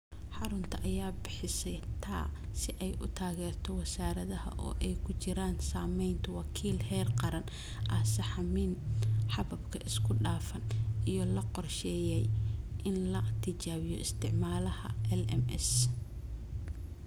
xarunta ayaa bixisay TA si ay u taageerto wasaaradda, oo ay ku jiraan samaynta wakiil heer qaran ah sahamin-hababka isku dhafan, iyo la qorsheeyay in la tijaabiyo isticmaalaha LMS.